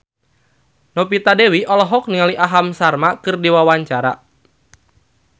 Novita Dewi olohok ningali Aham Sharma keur diwawancara